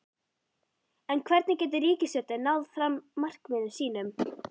En hvernig getur ríkisstjórnin náð fram markmiðum sínum?